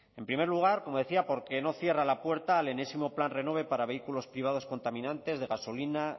en primer lugar como decía porque no cierra la puerta al enésimo plan renove para vehículos privados contaminantes de gasolina